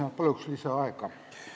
Ma palun lisaaega!